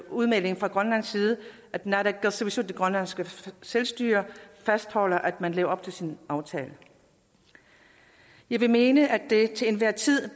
udmelding fra grønlands side at naalakkersuisut det grønlandske selvstyre fastholder at man lever op til sin aftale jeg vil mene at det til enhver tid